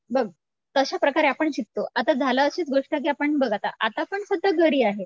बघ तशाप्रकारे आपण शिकतों आता झालं अशीच गोष्ट आपण बघ आता आता पण सध्या घरी आहे.